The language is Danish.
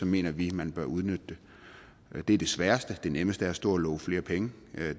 mener vi man bør udnytte det men det er det sværeste det nemmeste er at stå og love flere penge